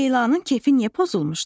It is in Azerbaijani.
Leylanın kefi niyə pozulmuşdu?